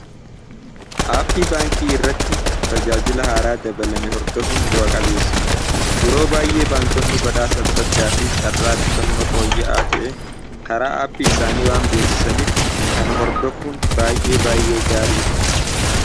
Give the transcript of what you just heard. Aappii baankii irratti tajaajila haaraa dabalame hordofuun bu'a qabeessa. Yeroo baay'ee baankonni badhaasa adda ddaa fi carraa qusannoo fooyya'aa ta'e karaa aappii isaanii waan beeksisaniif kana hordofuun baay'ee baay'ee gaarii dha.